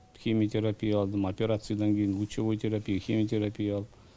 химиотерапия алдым операциядан кейін лучевой терапия химиотерапия алып